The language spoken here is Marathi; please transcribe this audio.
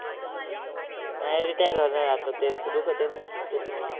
नाय, retire होणार आता. त्यांचं दुखते ना, त्याच्यामुळं